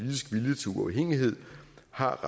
har